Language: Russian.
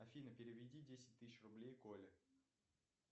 афина переведи десять тысяч рублей коле